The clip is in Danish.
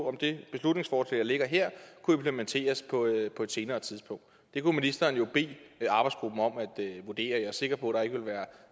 om det beslutningsforslag der ligger her kunne implementeres på et på et senere tidspunkt det kunne ministeren jo bede arbejdsgruppen om at vurdere jeg er sikker på at der ikke vil være